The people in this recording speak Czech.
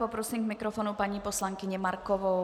Poprosím k mikrofonu paní poslankyni Markovou.